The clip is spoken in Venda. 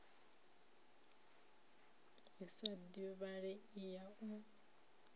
i sa divhalei ya u